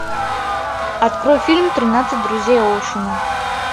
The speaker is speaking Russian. открой фильм тринадцать друзей оушена